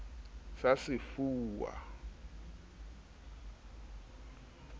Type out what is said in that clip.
sa sefuwa di na le